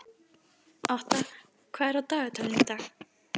Otta, hvað er á dagatalinu í dag?